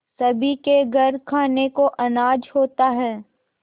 सभी के घर खाने को अनाज होता है